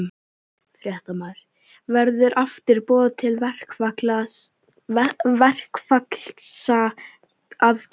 Fréttamaður: Verður aftur boðað til verkfallsaðgerða?